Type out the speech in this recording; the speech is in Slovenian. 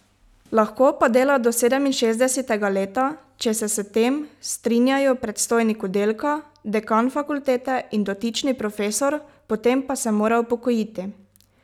Lahko pa dela do sedeminšestdesetega leta, če se s tem strinjajo predstojnik oddelka, dekan fakultete in dotični profesor, potem pa se mora upokojiti.